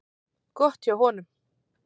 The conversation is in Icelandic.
Gott hjá honum.